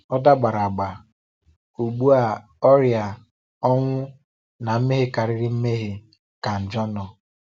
Ọ dàgbàrà agbà. Ugbu a ọrịa, ọnwụ, na mmehie ka mmehie ka njọ nọ.